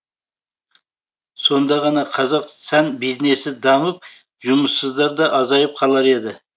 сонда ғана қазақ сән бизнесі дамып жұмыссыздар да азайып қалар еді